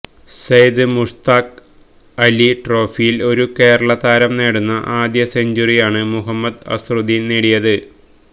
Zayed Mushtaq Ali ട്രോഫിയില് ഒരു കേരളതാരം നേടുന്ന ആദ്യ സെഞ്ചുറിയാണ് മുഹമ്മദ് അസറുദ്ദീന് നേടിയത്